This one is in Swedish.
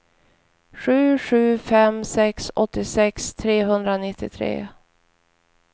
sju sju fem sex åttiosex trehundranittiotre